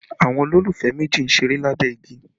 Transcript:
Àwọn olólùfẹ́ méjì ń ṣeré lábẹ́ igi